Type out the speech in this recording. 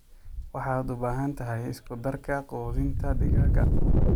Waxaad u baahan tahay isku-darka quudinta digaagga.